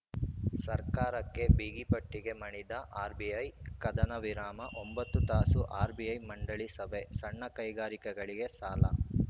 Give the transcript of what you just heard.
ಸರ್ಕಾರಕ್ಕೆ ಬಿಗಿಪಟ್ಟಿಗೆ ಮಣಿದ ಆರ್‌ಬಿಐ ಕದನವಿರಾಮ ಒಂಬತ್ತು ತಾಸು ಆರ್‌ಬಿಐ ಮಂಡಳಿ ಸಭೆ ಸಣ್ಣ ಕೈಗಾರಿಕಗಳಿಗೆ ಸಾಲ